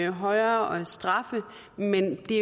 højere straffe men det